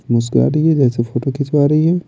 मुस्कुरा रही है जैसे फोटो खींचवा रही है।